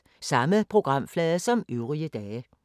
Samme programflade som øvrige dage